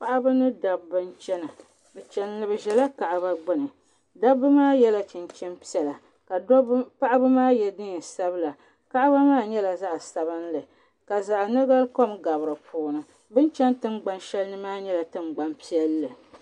Paɣaba ni daba n chana, bɛ ʒala kaaba gbuni. daba maa yela chinchin piɛla ka paɣaba maa mi ye neen' sabila kaaba nyɛla zaɣi sabinli ka zaɣi nogalikom gabi di puuni bɛn ʒa tiŋgbani shalini maa nyɛla tiŋgbani piɛli.